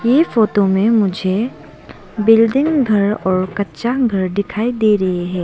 ये फोटो मे मुझे बिल्डिंग घर और कच्चा घर दिखाई दे रहे है।